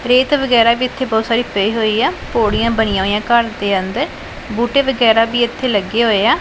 ਰੇਤ ਵਗੈਰਾ ਵੀ ਇੱਥੇ ਬਹੁਤ ਸਾਰੀ ਪਈ ਹੋਈ ਆ ਪੌੜੀਆਂ ਬਣੀਆਂ ਹੋਈਆਂ ਘਰ ਦੇ ਅੰਦਰ ਬੂਟੇ ਵਗੈਰਾ ਵੀ ਇੱਥੇ ਲੱਗੇ ਹੋਏ ਆ।